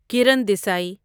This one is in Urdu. کرن دیسی